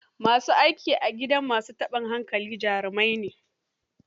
Ma su aiki a gidan ma su taɓin hankali jarimai ne.